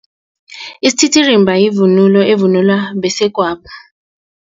Isititirimba yivunulo evunulwa besegwabo.